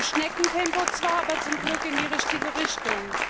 Im Schneckentempo zwar, aber zum Glück in die richtige Richtung.